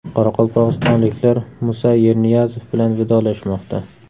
Qoraqalpog‘istonliklar Musa Yerniyazov bilan vidolashmoqda.